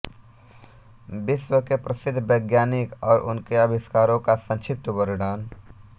विश्व के प्रसिद्ध वैज्ञानिक और उनके अविष्कारो का संक्षिप्त वर्णन